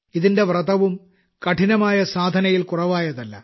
ഇതിന്റെ വ്രതവും കഠിനമായ സാധനയിൽ കുറവായതല്ല